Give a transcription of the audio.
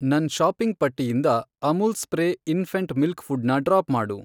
ನನ್ ಷಾಪಿಂಗ್ ಪಟ್ಟಿಯಿಂದ Amul spray infant milk food ನ ಡ್ರಾಪ್ ಮಾಡು.